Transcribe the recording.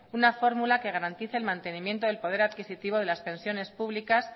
una fórmula que garantice el mantenimiento del poder adquisitivo de las pensiones públicas